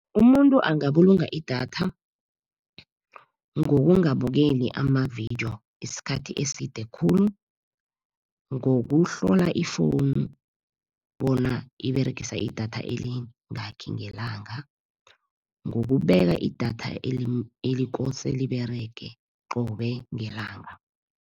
Umuntu angabulunga idatha, ngokungabukeli amavidiyo isikhathi eside khulu. Ngokuhlola ifowunu, bona iberegisa idatha elingakhi ngelanga. Ngokubeka idatha elikose liberege qobe ngelanga.